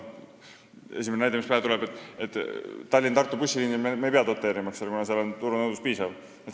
Esimene näide, mis pähe tuleb: Tallinna-Tartu bussiliini me ei pea doteerima, kuna seal on piisav turunõudlus.